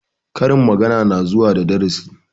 Karin magana na zuwa da darasi